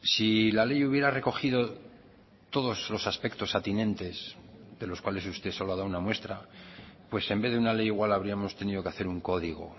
si la ley hubiera recogido todos los aspectos atinentes de los cuales usted solo ha dado una muestra pues en vez de una ley igual habríamos tenido que hacer un código